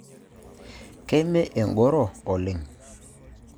Keme enkoro oleng.